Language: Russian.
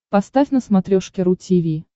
поставь на смотрешке ру ти ви